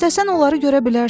İstəsən onları görə bilərsən.